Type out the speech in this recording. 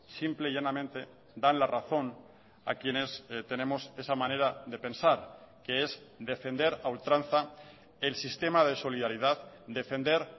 simple y llanamente dan la razón a quienes tenemos esa manera de pensar que es defender a ultranza el sistema de solidaridad defender